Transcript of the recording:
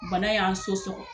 Bana y'a so sɔgɔ